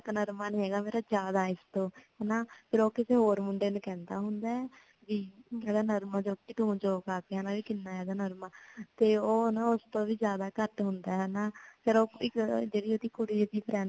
ਮੇਰਾ ਇਨਾ ਕ ਨਰਮਾ ਨੀ ਹੇਗਾ ਮੇਰਾ ਜ਼ਿਆਦਾ ਹੈ ਇਸ ਤੋਂ ਹਨਾ ਫੇਰ ਓ ਕਿਸੀ ਹੋਰ ਮੁੰਡੇ ਨੂ ਕਹਿੰਦਾ ਹੁੰਦਾ ਹੈ ਕਿ ਮੇਰਾ ਨਰਮਾ ਤੂ ਜੋ ਘਰ ਦਯਾ ਹੇਗਾ ਨਰਮਾ ਤੇ ਓ ਉਸ ਤੋਂ ਵੀ ਜਿਆਦਾ ਘਟ ਹੁੰਦਾ ਹੈ ਹਨਾ ਫਿਰ ਓ ਇੱਕ ਜੇੜੀ ਓਦੀ ਕੁੜੀ friend